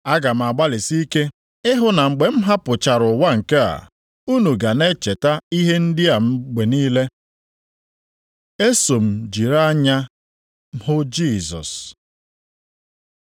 Aga m agbalịsi ike ịhụ na mgbe m hapụchara ụwa nke a, unu ga na-echeta ihe ndị a mgbe niile. Eso m jiri anya m hụ Jisọs